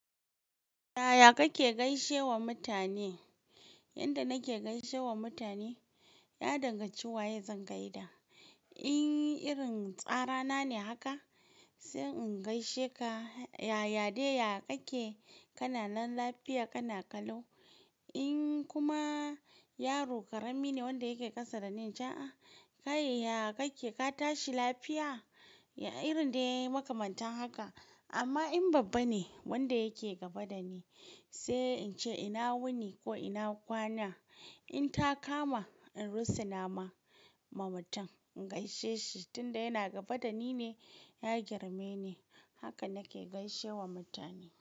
Yaya kake gaishe wa mutane? Yanda nake gaishe wa mutane, ya danganci waye zan gaida. In irin tsarar na ne haka, sai in gaishe ka yaya dai ya kake kana lafiya kana kallau. In kuma yaro ƙarami ne wanda yake ƙasa da ni, ina cewa "ya kake ka tashi lafiya?" irin dai yayi makamantan haka. Amma in babba ne wanda yake gaba da ni, sai in ce ina wuni ko ina kwana. In ta kama in russu nama ma mutum, in gaishe shi tunda yana gaba da ni ne, ya girme ni. Haka nake gaishe wa mutane.